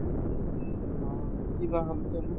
অ, কিবা হ'ল জানো ?